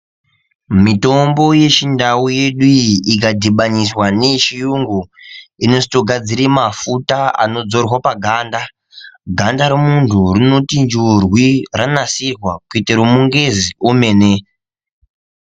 Mitombo yechindau yedu iyi, ikadhibaniswa neyechiyungu, inotogadzire mafuta anodzorwa paganda. Ganda remuntu rinotinjurwi ranasirwa kuite romungezi omene.